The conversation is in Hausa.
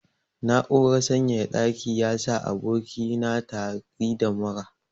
Na'urar sanyaya ɗaki yasa aboki na tari da mura.